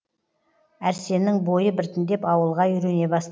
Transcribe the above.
әрсеннің бойы біртіндеп ауылға үйрене баст